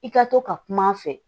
I ka to ka kuma a fɛ